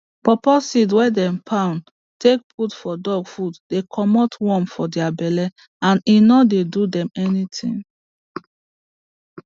paw paw seed wey dem poun take put for dog food dey commot worm for dia belle and e no dey do dem anything